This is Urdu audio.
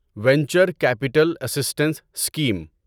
venture capital assistance scheme